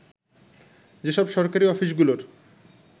যেসব সরকারি অফিসগুলোর